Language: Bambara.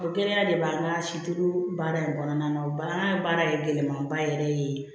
O gɛlɛya de b'an ka sito baara in kɔnɔna na o an ka baara ye gɛlɛnmanba yɛrɛ ye